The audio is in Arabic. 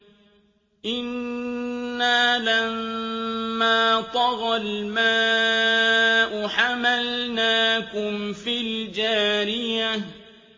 إِنَّا لَمَّا طَغَى الْمَاءُ حَمَلْنَاكُمْ فِي الْجَارِيَةِ